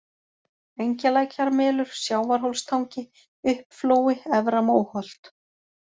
Engjalækjarmelur, Sjávarhólstangi, Uppflói, Efra-Móholt